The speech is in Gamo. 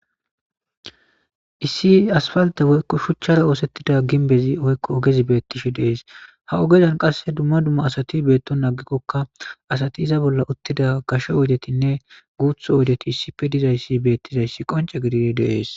Issi aspalte woyiko shuchara woyiko ginbera osetizayisa betishe dee's ha ohezan qassi duma duma asati betonan atikoka asati iza bolla utiza gashe oyidetinne gutha oyidethi issippe dizayisa qonc, isizayisa besees